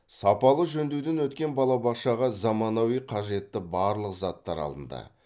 сапалы жөндеуден өткен балабақшаға заманауи қажетті барлық заттар алынды